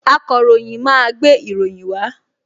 Akọ̀ròyìn máa gbé ìròyìn wá